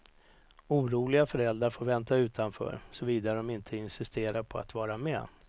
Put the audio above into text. Oroliga föräldrar får vänta utanför, såvida de inte insisterar på att vara med.